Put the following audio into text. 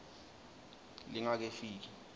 lingakefiki